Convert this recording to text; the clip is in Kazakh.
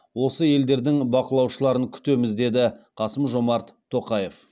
осы елдердің бақылаушыларын күтеміз деді қасым жомарт тоқаев